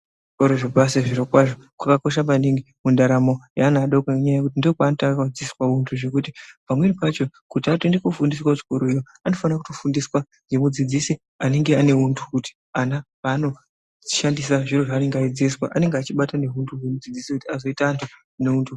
Kuzvikora zvepashi zvirokwazvo kwakakosha maningi mundaramo yeana adoko ngenyaya yekuti ndokwaanotanga kudzidziswa kuti zvekuti pamweni pacho kuti atoende kofundiswa kuchikoroyo anofana kutofundiswa ngekudzidzise anenge ane hunhu kuti ana paanodhandisa zviro zvavanenge eidzidziswa anenge achibata nehuntu hwunoadzidzisa kuti azoite antu ane hunhu.